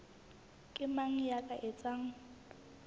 ke mang ya ka etsang